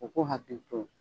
U k'u hakili to